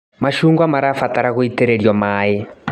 Macungwa marabatara gũitĩrĩrio maĩ.